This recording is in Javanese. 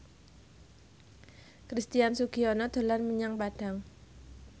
Christian Sugiono dolan menyang Padang